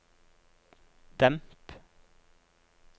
demp